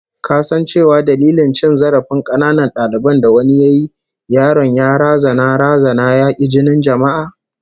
Ka san cewa dalilin cin zarafin kananan dalibin da wani yayi, yaron ya razana razana ya ki jinin jama'a?